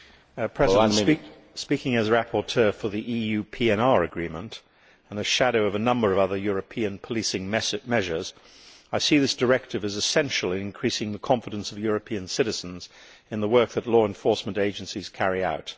Mr President, speaking as rapporteur for the EU PNR agreement and as a shadow on a number of other European policing measures, I see this directive as essential in increasing the confidence of European citizens in the work that law enforcement agencies carry out.